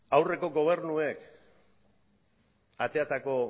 aurreko gobernuek ateratako